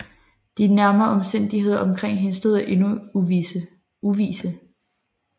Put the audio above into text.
De nærmere omstændigheder omkring hendes død er endnu uvisse